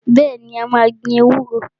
Bẹ́ẹ̀ni, mà á gbin ewúro.